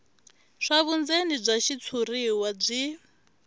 swa vundzeni bya xitshuriwa byi